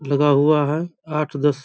लगा हुआ है आठ दस --